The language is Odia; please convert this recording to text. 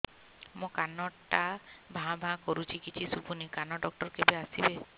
ମୋ କାନ ଟା ଭାଁ ଭାଁ କରୁଛି କିଛି ଶୁଭୁନି କାନ ଡକ୍ଟର କେବେ ଆସିବେ